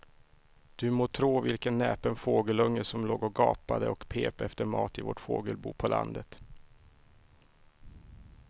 Du må tro vilken näpen fågelunge som låg och gapade och pep efter mat i vårt fågelbo på landet.